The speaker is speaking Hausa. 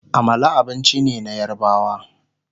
Amala abinci ne na yarbawa